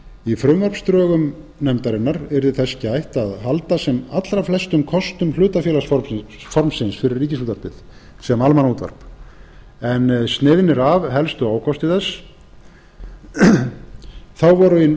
í frumvarpsdrögum nefndarinnar yrði þess gætt að halda sem allra flestum kostum hlutafélagsformsins fyrir ríkisútvarpið sem almannaútvarp en sniðnir af helstu ókostir þess þá voru í